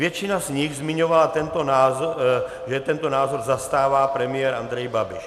Většina z nich zmiňovala, že tento názor zastává premiér Andrej Babiš.